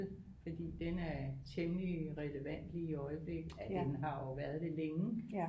Fordi den er temmelig relevant lige i øjeblikket den har jo været det længe